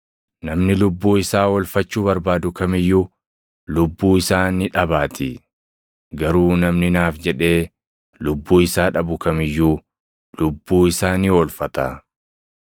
Namni lubbuu isaa oolfachuu barbaadu kam iyyuu lubbuu isaa ni dhabaatii; garuu namni naaf jedhee lubbuu isaa dhabu kam iyyuu lubbuu isaa ni oolfata.